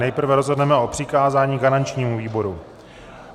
Nejprve rozhodneme o přikázání garančnímu výboru.